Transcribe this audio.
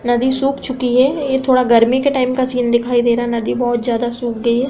नदी सुख चुकी है। यह थोडा गर्मी के टाइम का सीन दिखाई दे रहा है। नदी बहोत ज्यादा सुख चुकी है।